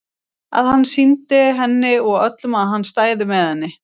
Að hann sýndi henni og öllum að hann stæði með henni.